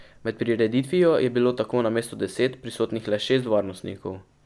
Med prireditvijo je bilo tako namesto deset, prisotnih le šest varnostnikov.